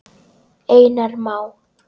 Einar Má.